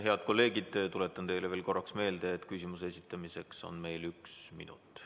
Head kolleegid, tuletan teile veel kord meelde, et küsimuse esitamiseks on aega üks minut.